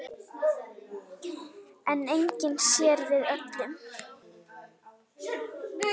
En enginn sér við öllum.